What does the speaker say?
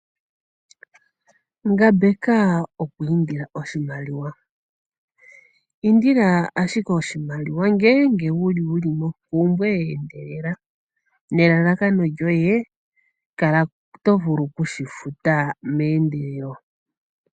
Ngambeka okulya omukuli. Indila ashike oshimaliwa uuna wu li mompumbwe ye endelela, nelalakano lyoye, kala to vulu oku shi futa meendelelo.